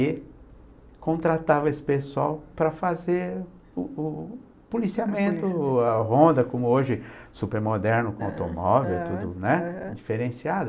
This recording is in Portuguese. E contratava esse pessoal para fazer o o opoliciamento, a Honda, como hoje, super moderno, com automóvel, tudo diferenciado.